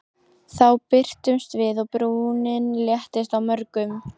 Þá birtumst við og brúnin léttist á mörgum.